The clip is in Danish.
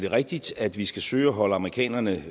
rigtigt at vi skal søge at holde amerikanerne